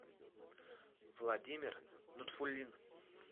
владимир нутфулин